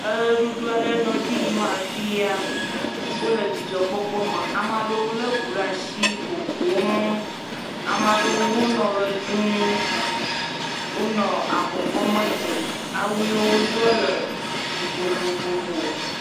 Eʋeɖuɖu aɖe nɔ dzi yim afi ya, wole dzidzɔkpɔkpɔ me. Ame aɖewo lé ŋu ɖe asi ƒoƒom, ame aɖewo hã wonɔ ʋe ɖum wonɔ abɔ kɔme dzi. Awu yi wodo la le vovovovo.